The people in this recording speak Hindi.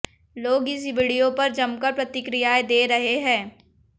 लोग इस वीडियो पर जमकर प्रतिक्रियाएं दे रहे हैं